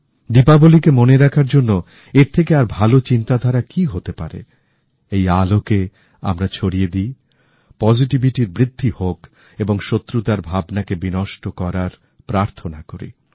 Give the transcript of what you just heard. দীপাবলিকে মনে রাখার জন্য এর থেকে আরভালো চিন্তাধারা কি হতে পারে এই আলোকে আমরা ছড়িয়ে দিই পজিটিভিটির বৃদ্ধি হোক এবং শত্রুতার ভাবনাকে বিনষ্ট করার প্রার্থনা করি